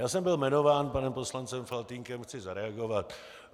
Já jsem byl jmenován panem poslancem Faltýnkem, chci zareagovat.